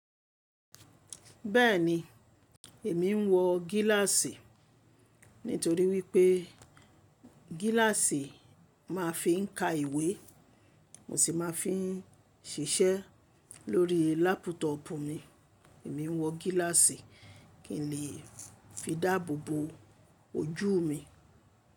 Bẹ́ẹ̀ni èmi ń wọ gíláàsì. Nítorí wípé gíláàsì ma fi ń ka ìwé, mo si ma fi ń ṣiṣẹ́ lórí lápútọ̀ọ̀pù mi. Èmi ń wọ gíláàsì kí n lè fi dáàbò bo ojú mi.